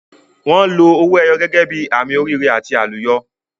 Wọn lo owó ẹyọ gẹ́gẹ́ bí àmì oríire àti àlùyọ.